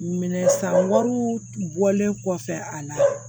Minɛ san wari bɔlen kɔfɛ a la